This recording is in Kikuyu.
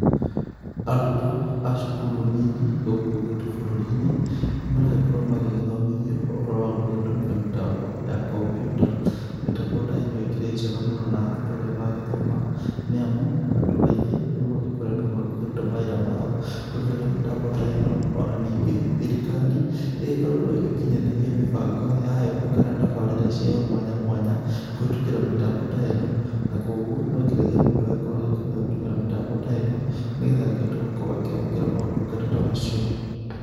Arutwo acukuru nini gũkũ gwitũ bũrũrinĩ nĩmaragĩkorwo magĩthomithio ũhoro wa gũgĩtũmira mĩtambo ya kompyuta, mĩtambo ta ĩno ĩkĩrĩ njega mũno na ũtorĩa magĩthoma nĩamu, andũ aingĩ rĩũ magĩkoretwe magĩkĩruta mawĩra mao kũgerera mĩtambo ta ĩno ona ningĩ, thirikari ĩgĩkoretwe ĩgĩkinyanĩria mĩbango yayo kana tabarĩra cia mwanya mwanya kũhĩtũkĩra mĩtambo ta ĩno na kwoguo nonginyagia mũndũ agĩkorwe akĩmenya gũtũmĩra mĩtambo ta ĩno nĩgetha akĩhote kwamũkĩra motunga ta macio.